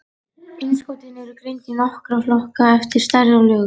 Innskotin eru greind í nokkra flokka eftir stærð og lögun.